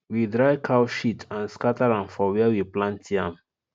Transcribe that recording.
we dry cow shit and scatter am for where we plant yam